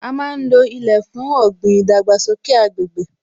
A má ń lo ilẹ̀ fún ọ̀gbìn, ìdàgbàsókè agbègbè